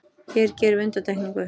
Hér gerum við undantekningu.